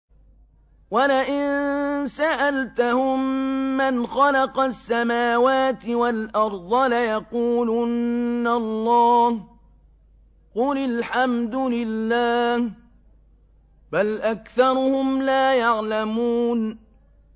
وَلَئِن سَأَلْتَهُم مَّنْ خَلَقَ السَّمَاوَاتِ وَالْأَرْضَ لَيَقُولُنَّ اللَّهُ ۚ قُلِ الْحَمْدُ لِلَّهِ ۚ بَلْ أَكْثَرُهُمْ لَا يَعْلَمُونَ